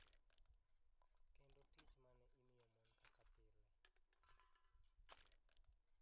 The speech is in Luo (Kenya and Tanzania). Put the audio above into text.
Kendo tich ma ne imiyo mon kaka pile.